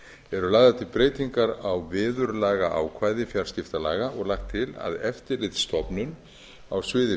eru lagðar til breytingar á viðurlagaákvæði fjarskiptalaga og lagt til að eftirlitsstofnun á bæði